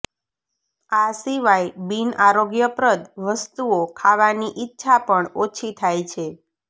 આ સિવાય બિનઆરોગ્યપ્રદ વસ્તુઓ ખાવાની ઈચ્છા પણ ઓછી થાય છે